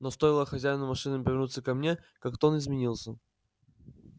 но стоило хозяину машины повернуться ко мне как тон изменился